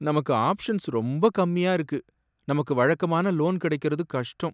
நமக்கு ஆப்ஷன்ஸ் ரொம்ப கம்மியா இருக்கு! நமக்கு வழக்கமான லோன் கிடைக்குறது கஷ்டம்.